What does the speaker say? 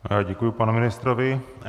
Děkuji panu ministrovi.